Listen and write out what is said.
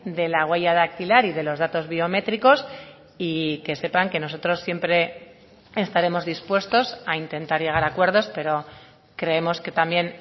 de la huella dactilar y de los datos biométricos y que sepan que nosotros siempre estaremos dispuestos a intentar llegar a acuerdos pero creemos que también